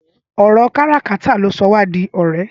Ọrọ kàrà kàtà ló sọ wà di ọrẹ